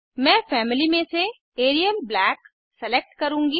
मैं फैमिली में से एरियल ब्लैक सेलेक्ट करुँगी